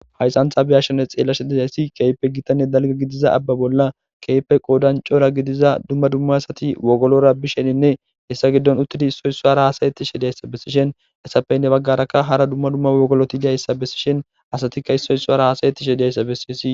haysantha beyashshene xeela shedidayssi keype gitanne dalga gidiza abba bolla keype qoodancora gidiza dumma dumma asati wogolora bisheninne hessa giddon uttidi issoy isso hara haasayetti shediyayssa bessishen hessafeynne baggarakka hara dumma dumma wogoloti diyayssa bessishen asatikka issoy sso hara haasayetti shediyayssa bessiesi